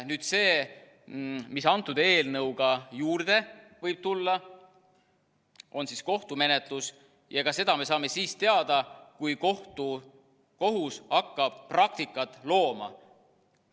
Nüüd see, mis antud eelnõuga juurde võib tulla, on kohtumenetlus, ja ka seda me saame siis teada, kui kohus hakkab praktikat looma.